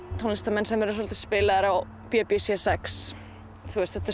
tónlistarmenn sem eru svolítið spilaðir á b b c sjötta þetta